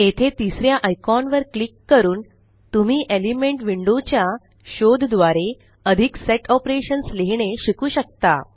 येथे तिसऱ्या आयकॉन वर क्लिक करून तुम्ही एलिमेंट विंडो च्या शोधद्वारे अधिक सेट ऑपरेशन्स लिहीणे शिकू शकता